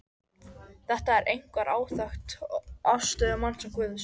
Þetta er einkar áþekkt afstöðu manns og Guðs.